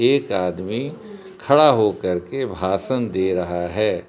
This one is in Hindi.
एक आदमी खड़ा हो कर के भाषण दे रहा है।